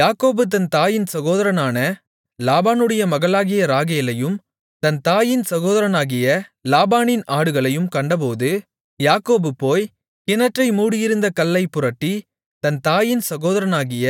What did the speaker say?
யாக்கோபு தன் தாயின் சகோதரனான லாபானுடைய மகளாகிய ராகேலையும் தன் தாயின் சகோதரனாகிய லாபானின் ஆடுகளையும் கண்டபோது யாக்கோபு போய் கிணற்றை மூடியிருந்த கல்லைப் புரட்டி தன் தாயின் சகோதரனாகிய